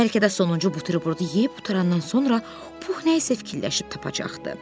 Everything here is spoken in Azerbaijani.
Bəlkə də sonuncu buterbrodu yeyib qutarandan sonra Puh nəyisə fikirləşib tapacaqdı.